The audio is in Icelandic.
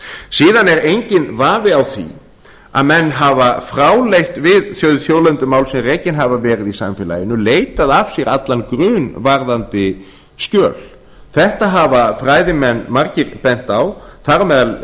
síðan er enginn vafi á því að menn hafa fráleitt við þau þjóðlendumál sem rekin hafa verið í samfélaginu leitað af sér allan grun varðandi skjöl þetta hafa fræðimenn margir bent á þar á meðal einar